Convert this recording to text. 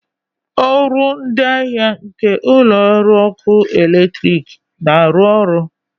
ọrụ ndị ahịa nke ụlọ ọrụ ọkụ eletrik na-arụ ọrụ?